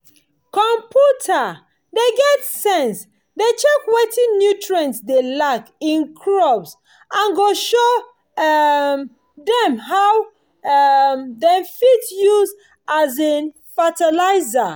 computer wey get sense dey check wetin nutrients dey lack in crops and go show um dem how um dem fit use um fertilizer